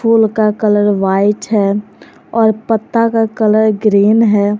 फूल का colour white है और पत्ता का कलर ग्रीन है।